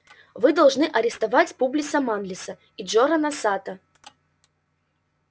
вы должны арестовать публиса манлиса и джорана сатта